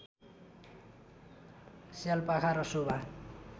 स्यालापाखा र शोभा